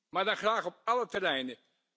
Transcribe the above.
Maar dan graag op alle terreinen!